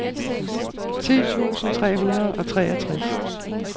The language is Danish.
ti tusind tre hundrede og treogtres